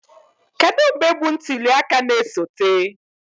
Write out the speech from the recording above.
Kedu mgbe bụ ntuli aka na-esote?